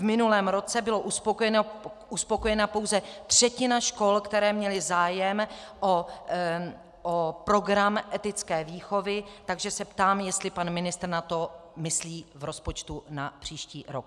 V minulém roce byla uspokojena pouze třetina škol, které měly zájem o program etické výchovy, takže se ptám, jestli pan ministr na to myslí v rozpočtu na příští rok.